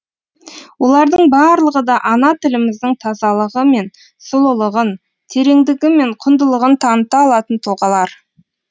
олардың барлығы да ана тіліміздің тазалығы мен сұлулығын тереңдігі мен құндылығын таныта алатын тұлғалар